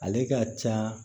Ale ka ca